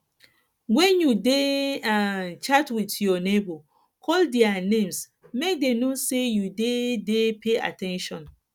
when you dey um chat with your neigbour call their names make dem know say you dey dey pay at ten tion